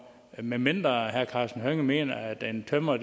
medmindre herre karsten hønge mener at en tømrer